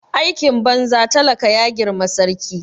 Aikin banza talaka ya girma sarki